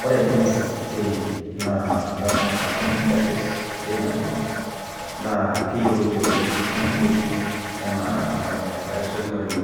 Ore ncck naa national council of churches of Kenya. naa keyioloti oleng ena body enaa enkaitashekinoni,